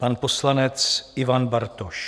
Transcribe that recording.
Pan poslanec Ivan Bartoš.